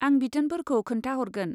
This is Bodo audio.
आं बिथोनफोरखौ खोन्थाहरगोन।